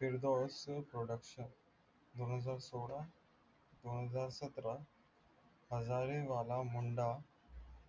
production दोन हजार सोळा, दोनहजार सतरा हजारे बाबा मुंडा